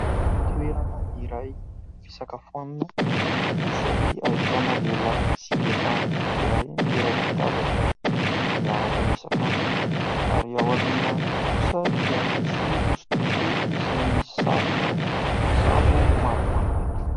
Toerana iray fisakafoanana izay ahitana lehilahy sy vehivavy iray miray latabatra, miaraka misakafo ary ao aoriana kosa dia misy hosodoko izay misy sarina sambo maromaro.